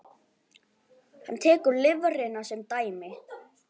Hann tekur lifrina sem dæmi.